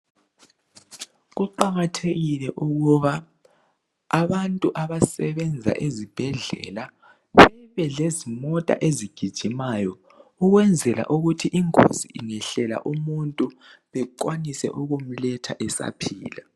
Kuqakathekile ukuba abantu abasebenza ezibhedlela bebe lezimota ezigijimayo ukwenzela ukuthi ingozi ingehlela umuntu bekwanise ukumletha esaphila.